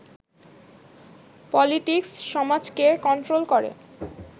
politics সমাজকে control করে